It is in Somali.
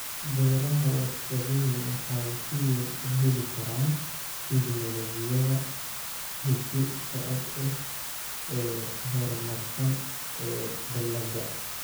Beeraha warshaduhu waxay si weyn u heli karaan tignoolajiyada hidde-socod ee horumarsan ee dalagga.